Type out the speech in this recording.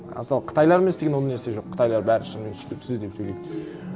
а сол қытайлармен істегенде ол нәрсе жоқ қытайлар бәрі шынымен сөйтіп сіз деп сөйлейді